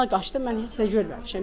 Ona qaçdım, mən heç nə görməmişəm.